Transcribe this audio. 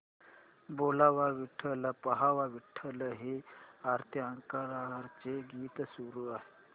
बोलावा विठ्ठल पहावा विठ्ठल हे आरती अंकलीकरांचे गीत सुरू कर